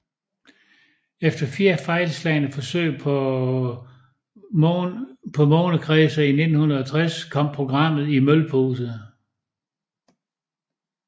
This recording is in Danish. Efter fire fejlslagne forsøg på månekredsere i 1960 kom programmet i mølpose